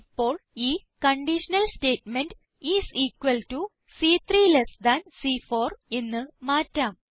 ഇപ്പോൾ ഈ conditional statement is equal to സി3 less than C4 എന്ന് മാറ്റാം